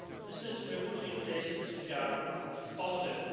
The system we are putting in place in this regard is positive.